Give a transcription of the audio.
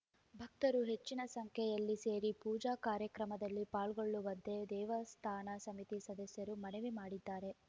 ಭಕ್ತರು ಹೆಚ್ಚಿನ ಸಂಖ್ಯೆಯಲ್ಲಿ ಸೇರಿ ಪೂಜಾ ಕಾರ್ಯಕ್ರಮದಲ್ಲಿ ಪಾಲ್ಗೊಳ್ಳುವಂತೆ ದೇವಸ್ಥಾನ ಸಮಿತಿ ಸದಸ್ಯರು ಮನವಿ ಮಾಡಿದ್ದಾರೆ